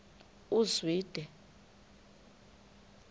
uzwide